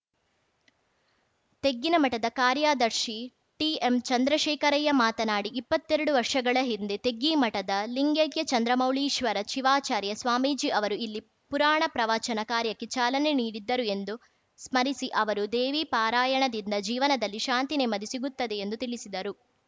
ತೆಗ್ಗಿನಮಠದ ಕಾರ್ಯದರ್ಶಿ ಟಿಎಂ ಚಂದ್ರಶೇಖರಯ್ಯ ಮಾತನಾಡಿ ಇಪ್ಪತ್ತೆರಡು ವರ್ಷಗಳ ಹಿಂದೆ ತೆಗ್ಗಿಮಠದ ಲಿಂಗೈಕ್ಯ ಚಂದ್ರಮೌಳೀಶ್ವರ ಶಿವಚಾರ್ಯ ಸ್ವಾಮೀಜಿ ಅವರು ಇಲ್ಲಿ ಪುರಾಣ ಪ್ರವಚನ ಕಾರ್ಯಕ್ಕೆ ಚಾಲನೆ ನೀಡಿದ್ದರು ಎಂದು ಸ್ಮರಿಸಿ ಅವರು ದೇವಿ ಪಾರಾಯಣದಿಂದ ಜೀವನದಲ್ಲಿ ಶಾಂತಿ ನೆಮ್ಮದಿ ಸಿಗುತ್ತದೆ ಎಂದು ತಿಳಿಸಿದರು